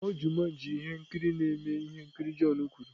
Kpọọ Jumanji ihe nkiri na-eme ihe nkiri john kwuru.